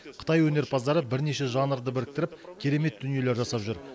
қытай өнерпаздары бірнеше жанрды біріктіріп керемет дүниелер жасап жүр